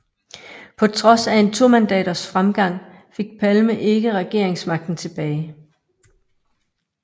På trods af en tomandaters fremgang fik Palme ikke regeringsmagten tilbage